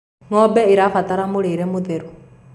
ng'ombe irabatara mũrĩre mũtheru